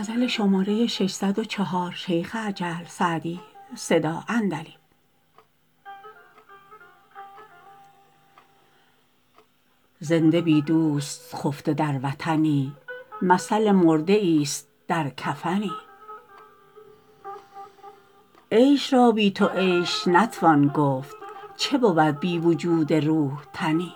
زنده بی دوست خفته در وطنی مثل مرده ایست در کفنی عیش را بی تو عیش نتوان گفت چه بود بی وجود روح تنی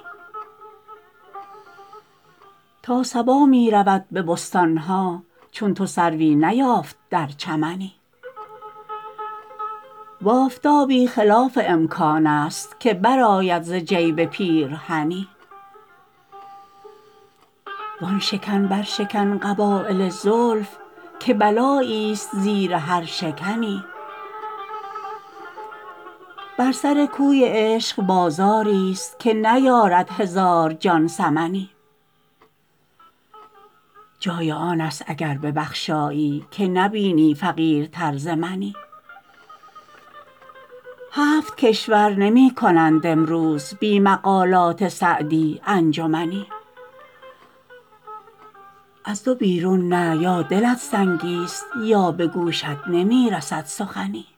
تا صبا می رود به بستان ها چون تو سروی نیافت در چمنی و آفتابی خلاف امکان است که برآید ز جیب پیرهنی وآن شکن برشکن قبایل زلف که بلاییست زیر هر شکنی بر سر کوی عشق بازاریست که نیارد هزار جان ثمنی جای آن است اگر ببخشایی که نبینی فقیرتر ز منی هفت کشور نمی کنند امروز بی مقالات سعدی انجمنی از دو بیرون نه یا دلت سنگیست یا به گوشت نمی رسد سخنی